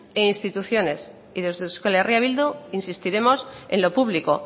e instituciones y desde euskal herria bildu insistiremos en lo público